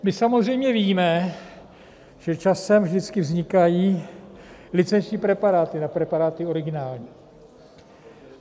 My samozřejmě víme, že časem vždycky vznikají licenční preparáty na preparáty originální.